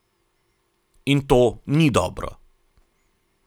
In to ni dobro!